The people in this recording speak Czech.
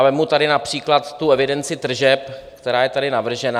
A vezmu tady například tu evidenci tržeb, která je tady navržena.